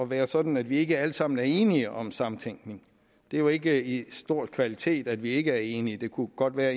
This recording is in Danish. være sådan at vi ikke alle sammen er enige om samtænkning det er jo ikke en stor kvalitet at vi ikke er enige det kunne godt være at